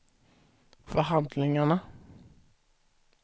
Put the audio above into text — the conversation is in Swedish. förhandlingarna